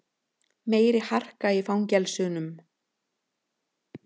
Meiri harka í fangelsunum